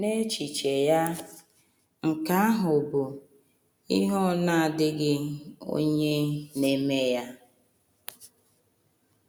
N’echiche ya, nke ahụ bụ ihe “ ọ na - adịghị onye na - eme ya. ”